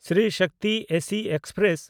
Shri Shakti AC express